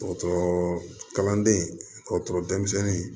Dɔgɔtɔrɔ kalanden dɔgɔtɔrɔ denmisɛnnin